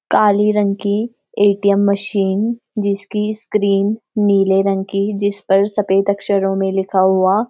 काली रंग की ATM. Machine जिसकी स्‍क्रीन नीले रंग की जिस पर सफेद अक्षरों में लिखा हुआ --